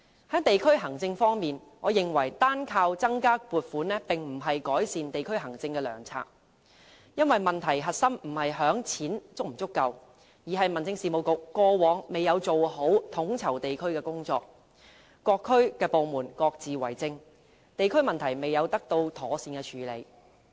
在地區行政方面，我認為單靠增加撥款並不是改善地區行政的良策，因為問題核心不在於是否有足夠的錢，而是民政事務局過往未有做好地區統籌的工作，各區部門各自為政，地區問題未有得到妥善處理。